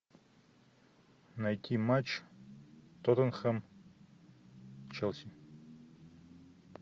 найти матч тоттенхэм челси